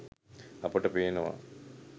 අපට පේනවා